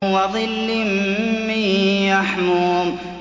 وَظِلٍّ مِّن يَحْمُومٍ